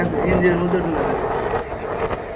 NGO এর মধ্যে ঢোকা যাবে,